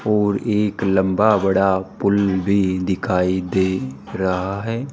और एक लंबा बड़ा पुल भी दिखाई दे रहा है।